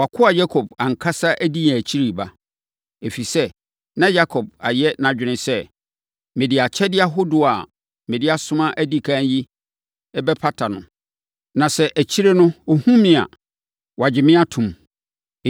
‘Wʼakoa Yakob ankasa di yɛn akyiri reba.’ ” Ɛfiri sɛ, na Yakob ayɛ nʼadwene sɛ, “Mede akyɛdeɛ ahodoɔ a mede asoma adi ɛkan yi bɛpata no, na sɛ akyire no ɔhunu me a, wagye me ato mu.”